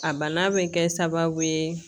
A bana bɛ kɛ sababu ye